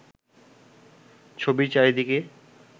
ছবির চারিদিকে